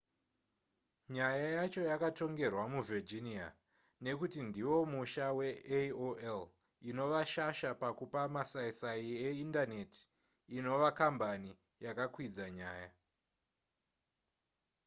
nyaya yacho yakatongerwa muvirginia nekuti ndiwo musha veaol inova shasha pakupa masaisai eindaneti inova kambani yakakwidza nyaya